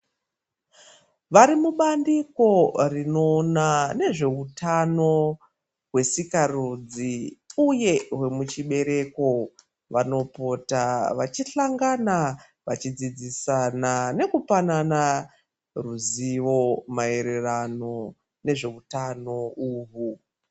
Varimubandiko rinoona nezveutano hwesikarudzi uye hwemuchibereko vanopota vachihlangana vachidzidzisana nekupanana ruzivo maererano nezveutano uhwu.